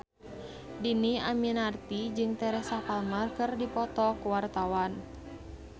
Dhini Aminarti jeung Teresa Palmer keur dipoto ku wartawan